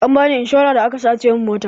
Ambani inshora da aka sace min mota